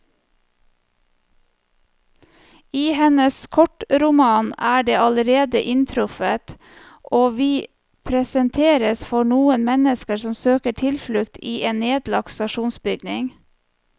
I hennes kortroman er den allerede inntruffet, og vi presenteres for noen mennesker som søker tilflukt i en nedlagt stasjonsbygning.